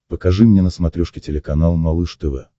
покажи мне на смотрешке телеканал малыш тв